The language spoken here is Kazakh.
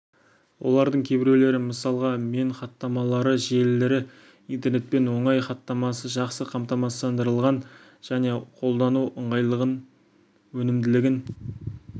олардың кейбіреулері мысалға мен хаттамалары желілері интернетпен оңай хаттамасы жақсы қамтамасыздандырылған және қолдану ыңғайлығын өнімділігін